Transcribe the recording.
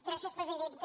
gràcies presidenta